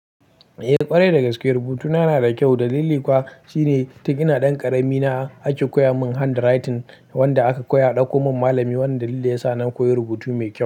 Eh ƙwarai da gaske rubutuna na da kyau dalili kuwa shine tun ina ɗan ƙarami na ake koya mun handwriting wanda aka koya a ɗako mun malami wanda dalili yasa na koyi rubutu mai kyau.